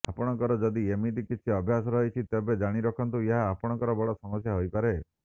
ଆପଣଙ୍କର ଯଦି ଏମିତି କିଛି ଅଭ୍ୟାସ ରହିଛି ତେବେ ଜାଣି ରଖନ୍ତୁ ଏହା ଆପଣଙ୍କ ବଡ଼ ସମସ୍ୟା ହୋଇପାରେ